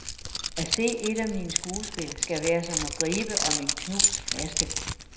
At se et af mine skuespil skal være som at gribe om en knust flaske.